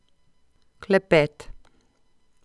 Klepet.